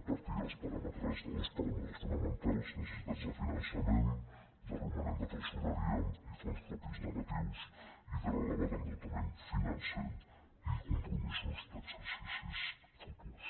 a partir dels paràmetres de dos p aràmetres fonamentals necessitats de finançament de romanent de tresoreria i fons propis negatius i de l elevat endeutament financer i compromisos d’exercicis futurs